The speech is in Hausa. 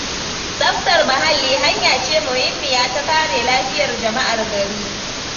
Tsaftar muhalli hanya ce muhimmiya ta kare lafiyar jama'ar gari.